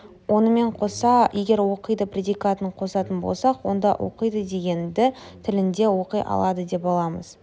онымен қоса егер оқиды предикатын қосатын болсақ онда оқиды дегенді тілінде оқи алады деп аламыз